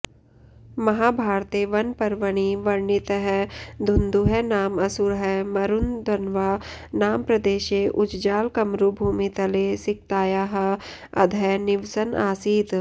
महाभारते वनपर्वणि वर्णितं धुन्धुः नाम असुरः मरुधन्वा नाम प्रदेशे उज्जालकमरुभूमितले सिकतायाः अधः निवसन् आसीत्